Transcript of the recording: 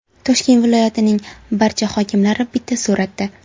Toshkent viloyatining barcha hokimlari bitta suratda.